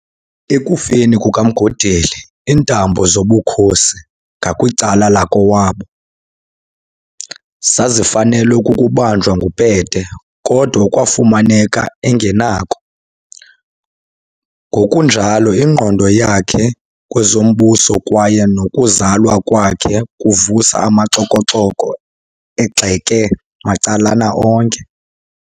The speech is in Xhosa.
Ekufeni kukaMgodeli iintambo zobukhosi ngakwicala lakowabo, zazifanelwe kukubanjwa nguPete, kodwa kwaafumaneka engenakho, ngokunjalo ingqondo yakhe kwezombuso, kwaye nokuzalwa kwakhe kuvusa amaxoko-xoko egxeke macalana onke.